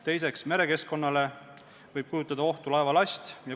Teiseks, merekeskkonnale võib endast ohtu kujutada laevalast.